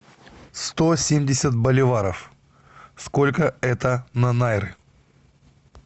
сто семьдесят боливаров сколько это на найры